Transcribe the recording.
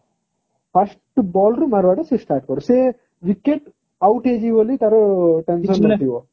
first ball ରୁ ମାରିବା ତ ସିଏ start କରେ start ସେ wicket out ହେଇଛି ବୋଲି ତାର ଥିବ